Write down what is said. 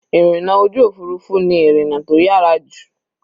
Ìrìna ojú òfurufú ni ìrìna tó yára jù.